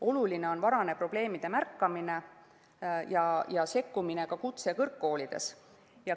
Oluline on varane probleemide märkamine ja sekkumine ka kutse- ja kõrgkoolides.